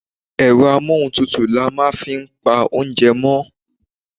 Ẹ̀rọ amóhuntutù ni a màa fi n pa oúnjẹ mọ́